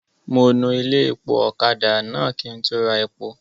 Mo nu ilé-epo ọ̀kadà náà kí n tó ra epo.